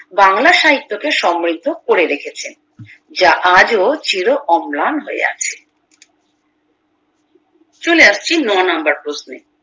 বাংলা সাহিত্যকে সমৃদ্ধ করে রেখেছেন যা আজও চির অম্লান হয়ে আছে চলে আসছি নয় নাম্বার প্রশ্নে